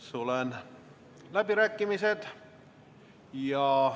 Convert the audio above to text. Sulgen läbirääkimised.